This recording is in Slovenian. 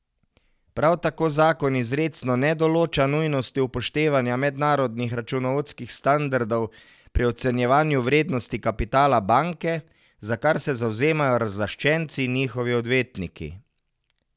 Prav tako zakon izrecno ne določa nujnosti upoštevanja mednarodnih računovodskih standardov pri ocenjevanju vrednosti kapitala banke, za kar se zavzemajo razlaščenci in njihovi odvetniki.